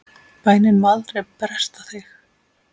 Bænin má aldrei bresta þig!